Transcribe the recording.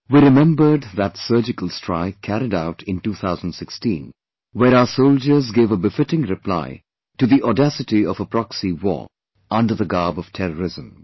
We remembered that surgical strike carried out in 2016, where our soldiers gave a befitting reply to the audacity of a proxy war under the garb of terrorism